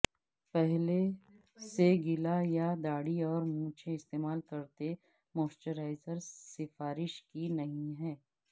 پہلے سے گیلا یا داڑھی اور مونچھیں استعمال کرتے موئسچرائزر سفارش کی نہیں ہے